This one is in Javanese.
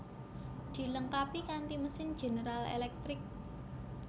Dilengkapi kanti mesin General Electric